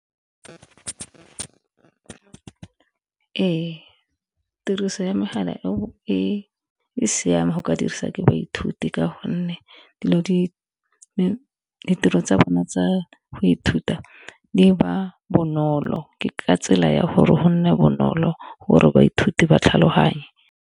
Ee tiriso ya megala e o e siame go ka diriswa ke baithuti ka gonne ditiro tsa bone tsa go ithuta di ba bonolo ke ka tsela ya gore go nne bonolo gore baithuti ba tlhaloganye.